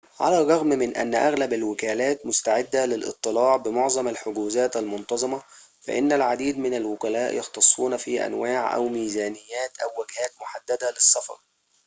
على الرغم من أن أغلب الوكالات مستعدة للاضطلاع بمعظم الحجوزات المنتظمة فإن العديد من الوكلاء يختصون في أنواع أو ميزانيات أو وجهات محددة للسفر